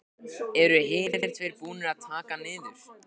Eru hinir tveir búnir að taka hann niður.